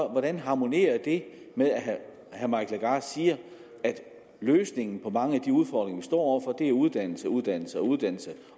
hvordan harmonerer det med at herre mike legarth siger at løsningen på mange af de udfordringer vi står over for er uddannelse uddannelse og uddannelse